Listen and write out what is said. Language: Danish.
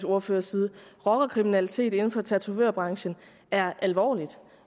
ordførers side rockerkriminalitet inden for tatovørbranchen er alvorligt